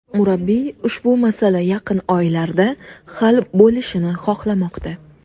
Murabbiy ushbu masala yaqin oylarda hal bo‘lishini xohlamoqda.